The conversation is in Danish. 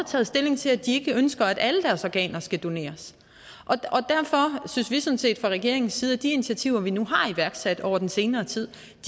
taget stilling til at de ikke ønsker at alle deres organer skal doneres derfor synes vi sådan set fra regeringens side at de initiativer vi nu har iværksat over den senere tid